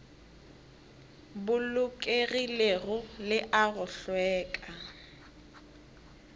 bolokegilego le a go hlweka